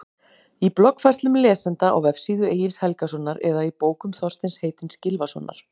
Í bloggfærslum lesenda á vefsíðu Egils Helgasonar eða í bókum Þorsteins heitins Gylfasonar?